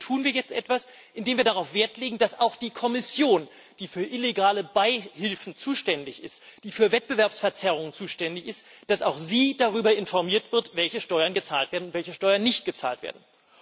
Und dagegen tun wir jetzt etwas, indem wir Wert darauf legen, dass auch die Kommission, die für illegale Beihilfen zuständig ist, die für Wettbewerbsverzerrung zuständig ist, darüber informiert wird, welche Steuern gezahlt werden und welche Steuern nicht gezahlt werden.